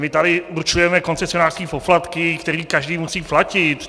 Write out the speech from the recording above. My tady určujeme koncesionářské poplatky, které každý musí platit.